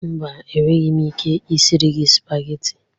Mba, enweghị m ike isiri gị spageti.